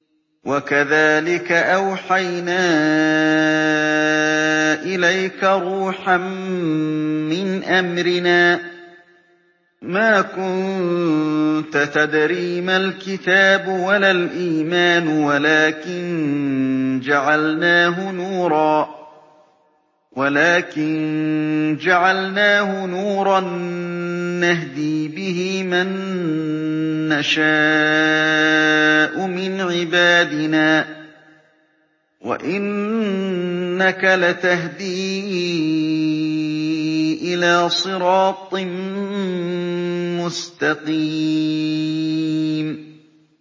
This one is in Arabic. وَكَذَٰلِكَ أَوْحَيْنَا إِلَيْكَ رُوحًا مِّنْ أَمْرِنَا ۚ مَا كُنتَ تَدْرِي مَا الْكِتَابُ وَلَا الْإِيمَانُ وَلَٰكِن جَعَلْنَاهُ نُورًا نَّهْدِي بِهِ مَن نَّشَاءُ مِنْ عِبَادِنَا ۚ وَإِنَّكَ لَتَهْدِي إِلَىٰ صِرَاطٍ مُّسْتَقِيمٍ